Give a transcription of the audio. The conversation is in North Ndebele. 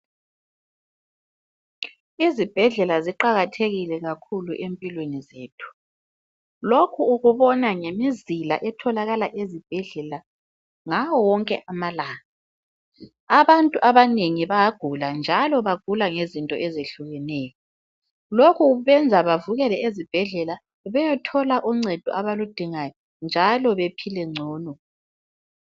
Izibhedlela ziqakathekile kakhulu empilweni zethu, lokhu ukubona ngemizila etholakala ezibhedlela ngawo wonke amalanga. Abantu abanengi bayagula njalo bagula ngento ezehlukeneyo. Lokhu kwenza bavukele ezibhedlela beyethola uncedo abaludingayo njalo bephile ngcono.